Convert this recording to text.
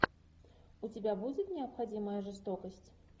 у тебя будет необходимая жестокость